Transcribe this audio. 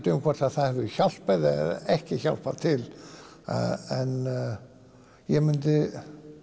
um hvort það hefur hjálpað eða ekki hjálpað til en ég myndi